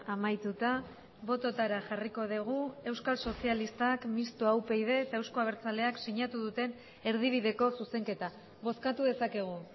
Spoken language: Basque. amaituta bototara jarriko dugu euskal sozialistak mistoa upyd eta euzko abertzaleak sinatu duten erdibideko zuzenketa bozkatu dezakegu